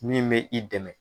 Min mɛ i dɛmɛ.